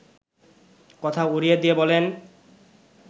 কথা উড়িয়ে দিয়ে বলেন